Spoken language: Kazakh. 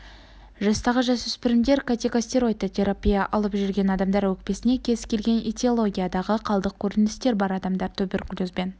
жастағы жасөспірімдер кортикостероидты терапия алып жүрген адамдар өкпесінде кез келген этиологиядағы қалдық көріністер бар адамдар туберкулезбен